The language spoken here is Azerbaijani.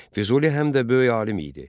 Füzuli həm də böyük alim idi.